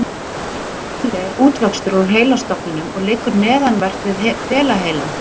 Litli heili er útvöxtur úr heilastofninum og liggur neðanvert við hvelaheilann.